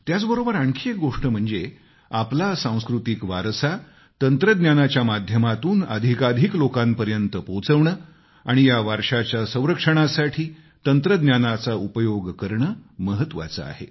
त्याचबरोबर आणखी एक गोष्ट म्हणजे आपला सांस्कृतिक वारसा तंत्रज्ञानाच्या माध्यमातून अधिकाधिक लोकांपर्यंत पोहचविणं आणि या वारशाच्या संरक्षणासाठी तंत्रज्ञानाचा उपयोग करणं महत्वाचं आहे